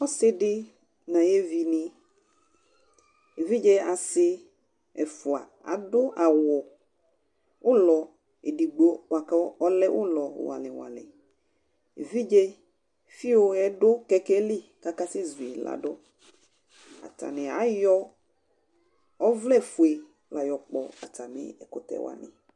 ɔse di n'ayi evi ni evidze ase ɛfua ado awu ulɔ edigbo boa kò ɔlɛ ulɔ ŋɔli ŋɔli evidze viu yɛ do kɛkɛ li k'aka sɛ zui lado atani ayɔ ɔvlɛ fue l'ɔkpɔ atami ɛkutɛ wani